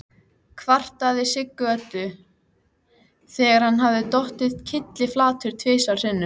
kvartaði Siggi Öddu, þegar hann hafði dottið kylliflatur tvisvar sinnum.